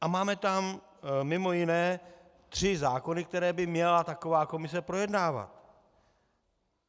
A máme tam mimo jiné tři zákony, které by měla taková komise projednávat.